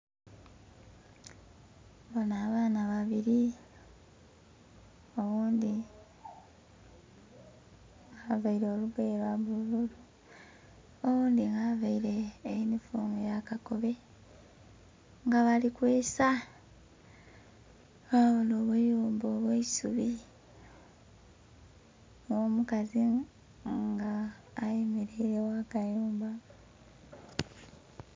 Ndhibona abaana babiri, oghundhi nga avaire olugoye lwa bululu, oghundhi nga avaire yunifoomu ya kakobe nga bali kweesa. Nhabona obuyumba obwesubi nga omukazi nga ayemereire gha kayumba.